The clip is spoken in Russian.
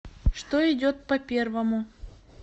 что идет по первому